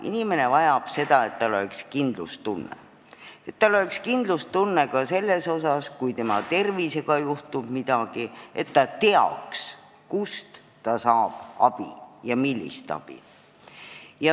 Inimene vajab seda, et tal oleks kindlustunne ja et tal oleks kindlustunne ka selles, et kui tema tervisega midagi juhtub, siis ta teab, kust ta saab abi ja millist abi.